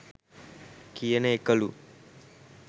කියන එකලු.